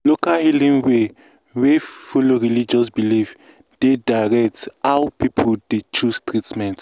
local healing way wey follow religious belief dey direct how people dey choose treatment.